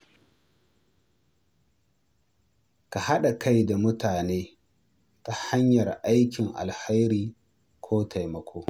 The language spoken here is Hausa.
Ka haɗa kai da mutane ta hanyar aikin alheri ko taimako.